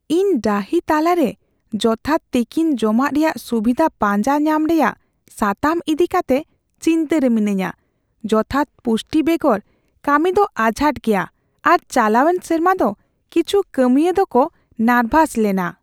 ᱤᱧ ᱰᱟᱹᱦᱤ ᱛᱟᱞᱟᱨᱮ ᱡᱚᱛᱷᱟᱛ ᱛᱤᱠᱤᱱ ᱡᱚᱢᱟᱜ ᱨᱮᱭᱟᱜ ᱥᱩᱵᱤᱫᱷᱟ ᱯᱟᱸᱡᱟ ᱧᱟᱢ ᱨᱮᱭᱟᱜ ᱥᱟᱛᱟᱢ ᱤᱫᱤ ᱠᱟᱛᱮ ᱪᱤᱱᱛᱟᱹᱨᱮ ᱢᱤᱱᱟᱹᱧᱟ ᱾ᱡᱚᱛᱷᱟᱛ ᱯᱩᱥᱴᱤ ᱵᱮᱜᱚᱨ ᱠᱟᱹᱢᱤ ᱫᱚ ᱟᱸᱡᱷᱟᱴ ᱜᱮᱭᱟ, ᱟᱨ ᱪᱟᱞᱟᱣᱮᱱ ᱥᱮᱨᱢᱟ ᱫᱚ ᱠᱤᱪᱷᱩ ᱠᱟᱹᱢᱤᱭᱟᱹ ᱫᱚᱠᱚ ᱱᱟᱨᱵᱷᱟᱥ ᱞᱮᱟᱱᱟ ᱾